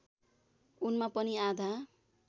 उनमा पनि आधा